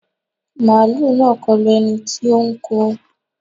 Màálù náà kọlu ẹni tí ó ń kọ